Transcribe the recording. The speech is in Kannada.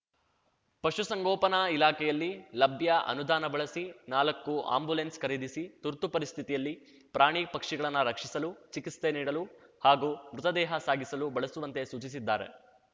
ಪಶು ಸಂಗೋಪನಾ ಇಲಾಖೆಯಲ್ಲಿ ಲಭ್ಯ ಅನುದಾನ ಬಳಸಿ ನಾಲ್ಕು ಆ್ಯಂಬುಲೆನ್ಸ್ ಖರೀದಿಸಿ ತುರ್ತು ಪರಿಸ್ಥಿತಿಯಲ್ಲಿ ಪ್ರಾಣಿಪಕ್ಷಿಗಳನ್ನ ರಕ್ಷಿಸಲು ಚಿಕಿತ್ಸೆ ನೀಡಲು ಹಾಗೂ ಮೃತದೇಹ ಸಾಗಿಸಲು ಬಳಸುವಂತೆ ಸೂಚಿಸಿದ್ದಾರೆ